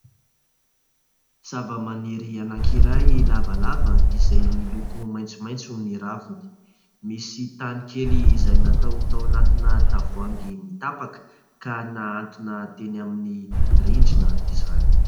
zava-maniry anankiray lavalava izay miloko maitsomaitso ny raviny , misy tany kely izay natao tao anatina tavoahangy mitapaka ka nahantona teny amin'ny rindrina izany